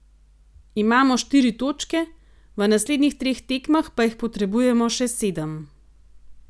Imamo štiri točke, v naslednjih treh tekmah pa jih potrebujemo še sedem.